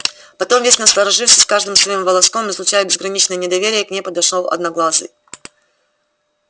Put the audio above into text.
потом весь насторожившись каждым своим волоском излучая безграничное недоверие к ней подошёл одноглазый